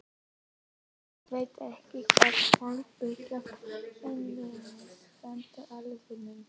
Ég veit ekki hvort fólk byggir þau beinlínis handa álfunum.